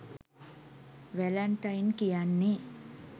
Valentine කියන්නෙ